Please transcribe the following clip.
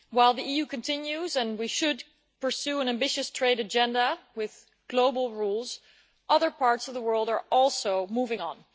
While the EU continues, and we should pursue an ambitious trade agenda with global rules, other parts of the world are also moving on.